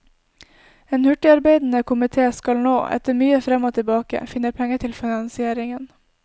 En hurtigarbeidende komité skal nå, etter mye frem og tilbake, finne penger til finansieringen.